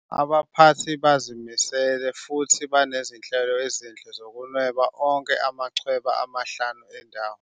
Abaphathi bazimisele futhi banezinhlelo ezinhle zokunweba wonke amachweba amahlanu endawo.